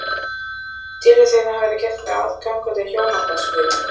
Tilfelli þeirra hafði gert mig að gangandi hjónabandsmiðlun.